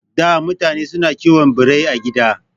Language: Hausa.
Da mutane na kiwon Birai a gida